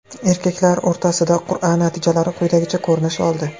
Erkaklar o‘rtasidagi qur’a natijalari quyidagicha ko‘rinish oldi.